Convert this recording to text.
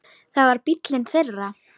Það var bíllinn þeirra.